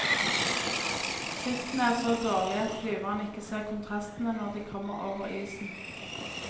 Sikten er så dårlig at flyverne ikke ser kontrastene når de kommer over isen.